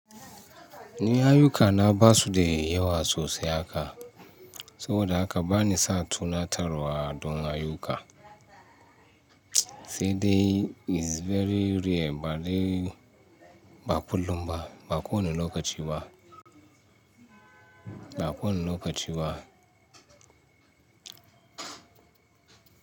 Ni ayyu ka na basu da yawa sosai haka, saboda haka bani sa tunatarwa don ayyuka. Sai dai is very rare ba dai ba kullum ba, ba kowane lokaci ba. Ba kowane lokaci ba.